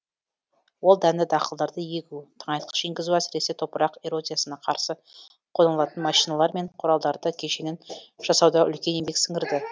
ол дәнді дақылдарды егу тыңайтқыш енгізу әсіресе топырақ эрозиясына қарсы қолданылатын машиналар мен құралдардың кешенін жасауда үлкен еңбек сіңірді